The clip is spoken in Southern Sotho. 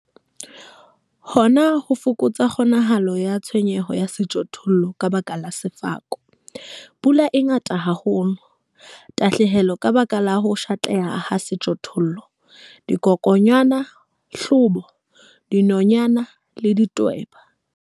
Hona ho fokotsa kgonahalo ya tshenyeho ya sejothollo ka baka la sefako, pula e ngata haholo, tahlehelo ka baka la ho pshatleha ha sejothollo, dikokwanyana, hlobo, dinonyana le ditweba.